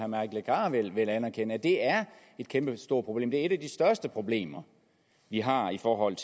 mike legarth vil anerkende nemlig at det er et kæmpestort problem det er et af de største problemer vi har i forhold